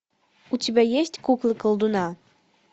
у тебя есть кукла колдуна